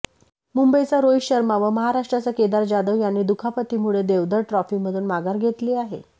मुंबईचा रोहित शर्मा व महाराष्ट्राचा केदार जाधव यांनी दुखापतीमुळे देवधर ट्रॉफीमधून माघार घेतली आहे